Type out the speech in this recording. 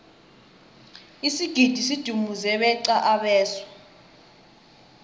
isigidi sidumuze beqa abeswa